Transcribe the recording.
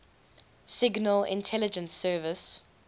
signal intelligence service